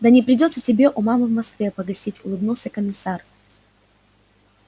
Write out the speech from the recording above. да не придётся тебе у мамы в москве погостить улыбнулся комиссар